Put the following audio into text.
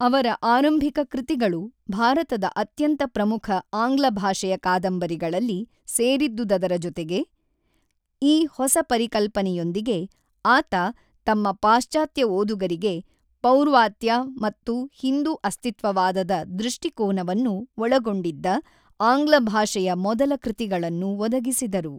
ಅವರ ಆರಂಭಿಕ ಕೃತಿಗಳು ಭಾರತದ ಅತ್ಯಂತ ಪ್ರಮುಖ ಆಂಗ್ಲ ಭಾಷೆಯ ಕಾದಂಬರಿಗಳಲ್ಲಿ ಸೇರಿದ್ದುದರ ಜೊತೆಗೆ, ಈ ಹೊಸ ಪರಿಕಲ್ಪನೆಯೊಂದಿಗೆ, ಆತ ತಮ್ಮ ಪಾಶ್ಚಾತ್ಯ ಓದುಗರಿಗೆ ಪೌರ್ವಾತ್ಯ ಮತ್ತು ಹಿಂದೂ ಅಸ್ತಿತ್ವವಾದದ ದೃಷ್ಟಿಕೋನವನ್ನು ಒಳಗೊಂಡಿದ್ದ ಆಂಗ್ಲಭಾಷೆಯ ಮೊದಲ ಕೃತಿಗಳನ್ನು ಒದಗಿಸಿದರು.